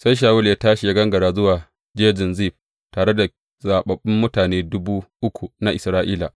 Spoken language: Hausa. Sai Shawulu ya tashi ya gangara zuwa Jejin Zif, tare da zaɓaɓɓun mutane dubu uku na Isra’ila.